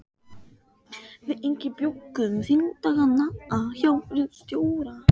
Við Ingi bjuggum þingdagana hjá ritstjóra